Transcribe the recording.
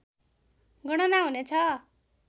गणना हुनेछ